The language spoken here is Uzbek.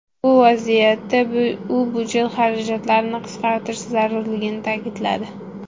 Bu vaziyatda u byudjet xarajatlarini qisqartirish zarurligini ta’kidladi.